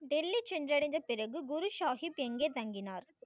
டெல்லி சென்ற அடைந்து பிறகு குரு சாஹிப் எங்கே தங்கினார்?